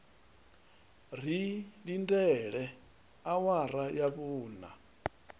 ri lindele awara ya vhuṋa